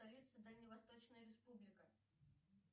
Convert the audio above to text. столица дальневосточная республика